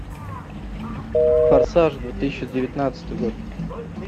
форсаж две тысячи девятнадцатый год